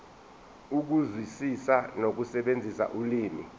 ukuzwisisa nokusebenzisa ulimi